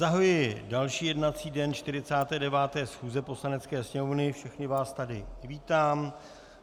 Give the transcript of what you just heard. Zahajuji další jednací den 49. schůze Poslanecké sněmovny, všechny vás tady vítám.